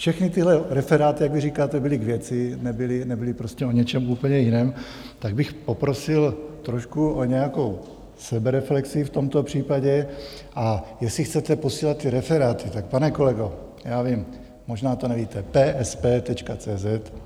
Všechny tyhle referáty, jak vy říkáte, byly k věci, nebyly prostě o něčem úplně jiném, tak bych poprosil trošku o nějakou sebereflexi v tomto případě, a jestli chcete posílat ty referáty, tak, pane kolego, já vím, možná to nevíte: psp.cz.